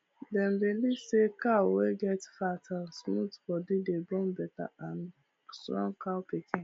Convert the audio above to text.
dem believe say cow wey get fat and smooth body dey born better and strong cow pikin